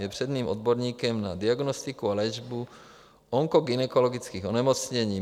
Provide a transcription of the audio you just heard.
Je předním odborníkem na diagnostiku a léčbu onkogynekologických onemocnění.